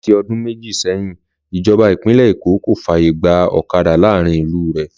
Láti ọdún méjì sẹ́yìn, ìjọba Ìpínlẹ̀ Èkó kò fàyè gba ọ̀kadà láàárín ìlú re